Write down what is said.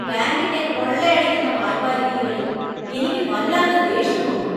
ബാങ്കിന്‍റെ കൊള്ളയടിക്കുന്ന വായ്പാ രീതികളിൽ എനിക്ക് വല്ലാത്ത ദേഷ്യം തോന്നുന്നു .